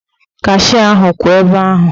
Kashịa ahụ kwụ ebe ahụ.